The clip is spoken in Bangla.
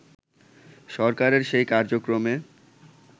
সরকারের সেই কার্যক্রমে